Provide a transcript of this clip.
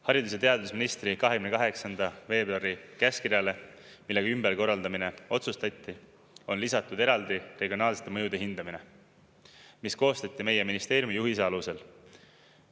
Haridus- ja teadusministri 28. veebruari käskkirjale, millega ümberkorraldamine otsustati, on lisatud eraldi regionaalsete mõjude hindamine, mis koostati meie ministeeriumi juhise alusel.